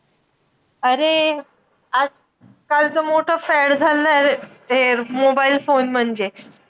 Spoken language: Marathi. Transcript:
अरे! आज कालचं मोठं fad झालंय. हे mobile phone म्हणजे.